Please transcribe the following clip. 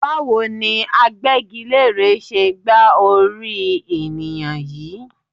Báwo ni agbẹ́gilére ṣe gba orí ènìyàn yìí?